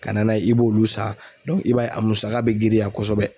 Ka na n'a ye i b'olu san i b'a ye a musaka bɛ girinya kosɛbɛ.